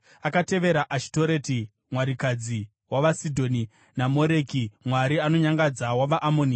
Akatevera Ashitoreti, mwarikadzi wavaSidhoni, naMoreki mwari anonyangadza wavaAmoni.